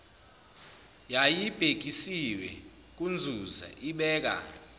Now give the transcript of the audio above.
yayibhekiswe kunzuza ibeka